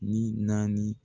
Ni naani